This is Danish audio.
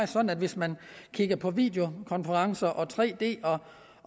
sådan at hvis man kigger på videokonferencer og tre d og